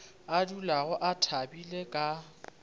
a dulago a thabile ka